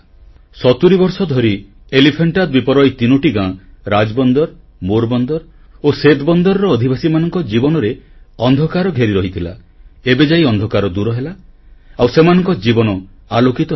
ସତୁରୀ ବର୍ଷ ଧରି ଏଲିଫାଣ୍ଟା ଦ୍ୱୀପର ଏହି ତିନୋଟି ଗାଁ ରାଜବନ୍ଦର ମୋର୍ ବନ୍ଦର ଓ ସେତ୍ ବନ୍ଦରର ଅଧିବାସୀମାନଙ୍କ ଜୀବନରେ ଅନ୍ଧକାର ଘେରି ରହିଥିଲା ଏବେଯାଇ ଅନ୍ଧକାର ଦୂରହେଲା ଆଉ ସେମାନଙ୍କ ଜୀବନ ଆଲୋକିତ ହେଲା